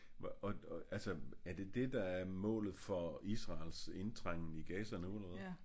Hvor og altså er det det der er målet for Israels indtrængen i Gaza nu eller hvad?